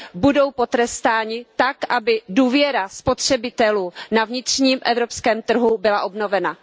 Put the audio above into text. budou potrestáni tak, aby důvěra spotřebitelů na vnitřním evropském trhu byla obnovena.